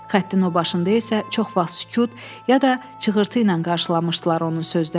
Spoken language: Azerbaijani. Xəttin o başında isə çox vaxt sükut ya da çığırtı ilə qarşılamışdılar onun sözlərini.